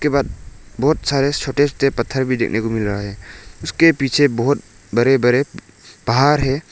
उसके बाद बहोत सारे छोटे छोटे पत्थर भी देखने को मिल रहा है उसके पीछे बहोत बड़े बड़े पहाड़ है।